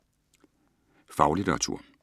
Faglitteratur